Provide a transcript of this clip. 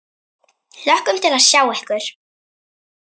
Hlökkum til að sjá ykkur.